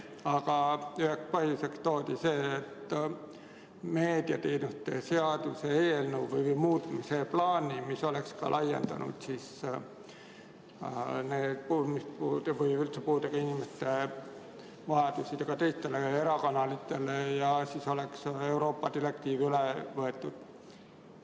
Aga üheks põhjuseks toodi meediateenuste seaduse muutmise plaan, mis oleks laiendanud kuulmispuudega või üldse puudega inimeste vajadusi ka teistele erakanalitele, ja siis oleks Euroopa direktiiv üle võetud.